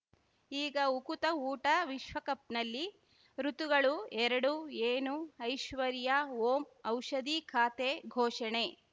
ಈಗ ಉಕುತ ಊಟ ವಿಶ್ವಕಪ್‌ನಲ್ಲಿ ಋತುಗಳು ಎರಡು ಏನು ಐಶ್ವರ್ಯಾ ಓಂ ಔಷಧಿ ಖಾತೆ ಘೋಷಣೆ